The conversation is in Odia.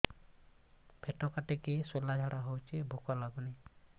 ପେଟ କାଟିକି ଶୂଳା ଝାଡ଼ା ହଉଚି ଭୁକ ଲାଗୁନି